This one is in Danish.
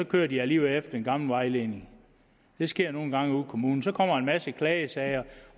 kører de alligevel efter den gamle vejledning det sker nogle gange ude i kommunerne så kommer der en masse klagesager